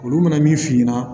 Olu bɛna min f'i ɲɛna